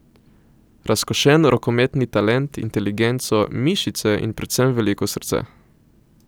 Razkošen rokometni talent, inteligenco, mišice in predvsem veliko srce.